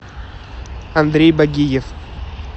андрей багиев